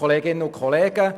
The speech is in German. der SiK.